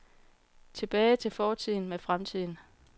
Tilbage til fortiden med fremtiden.